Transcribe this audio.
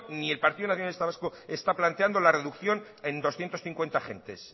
ni el partido nacionalista vasco está planteando la reducción en doscientos cincuenta agentes